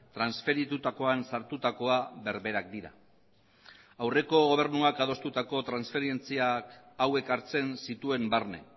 transferitutakoan sartutakoa berberak dira aurreko gobernuak adostutako transferentzia hauek hartzen zituen barne